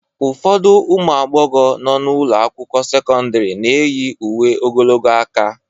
Ụfọdụ ụmụ agbọghọ nọ n'ụlọ akwụkwọ sekọndrị na-eyi uwe ogologo aka